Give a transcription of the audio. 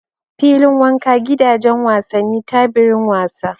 Fillin wanka, Gidajen wasani, Tabirin wasa